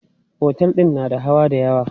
Otel din na da hawa dayawa.